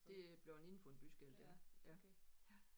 Det er bleven indenfor en byskilt ja ja